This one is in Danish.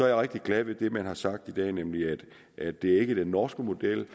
jeg rigtig glad ved det man har sagt i dag nemlig at det ikke er den norske model